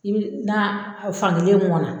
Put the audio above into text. I bi na fan gelen mɔn na